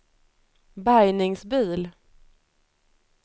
bärgningsbil